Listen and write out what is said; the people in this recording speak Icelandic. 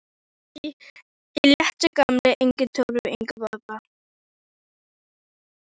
Þetta var allt í léttu gamni, engin trúlofun, engin gifting.